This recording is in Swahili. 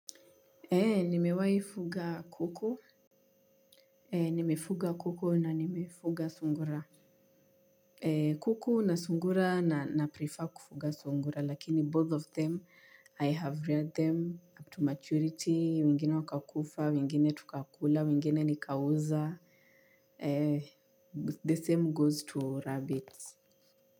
Nimewahi fuga kuku. Nimefuga kuku na nimefuga sungura. Kuku na sungura naprefer kufuga sungura lakini both of them I have reared them up to maturity, wengine wakakufa, wengine tukakula, wengine nikauza. The same goes to rabbits.